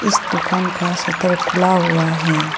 इस दुकान का शटर खुला हुआ है।